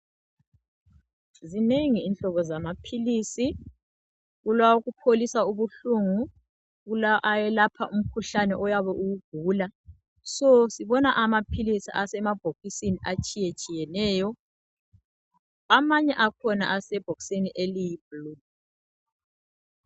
Zinengi inhlobo zamaphilisi. Kulawokupholisa ubuhlungu. Kula awelapha umkhuhlane oyabe uwugugula. So sibona amaphilisi, asemabhokisini atshiyatshiyeneyo. Amanye akhona, asebhokisini eliyiblue.